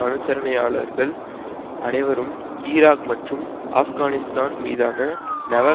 அனுசரணையாளர்கள் அனைவரும் ஈராக் மற்றும் ஆப்கானிஸ்தான் மீதான நவ